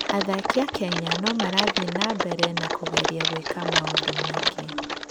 Athaki a Kenya no marathiĩ na mbere na kũgeria gwĩka maũndũ maingĩ.